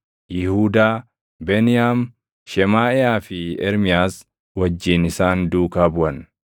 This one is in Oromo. Yihuudaa, Beniyaam, Shemaaʼiyaa fi Ermiyaas wajjin isaan duukaa buʼan;